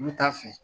U bɛ taa fɛ